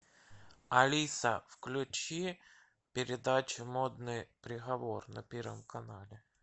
алиса включи передачу модный приговор на первом канале